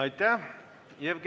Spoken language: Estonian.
Aitäh!